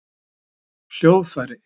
hljóðfæri